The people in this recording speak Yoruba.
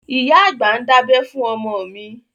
Ìyá àgbà ń dábẹ́ fún ọmọ mi